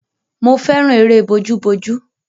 Mo fẹ́ràn eré bójú bójú.